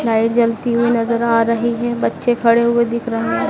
light जलती हुई नजर आ रही है बच्चे खड़े हुए दिखे रहे--